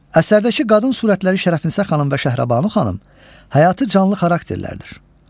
Əsərdəki qadın surətləri Şərəfinisə xanım və Şəhrəbanu xanım həyatı canlı xarakterlərdir.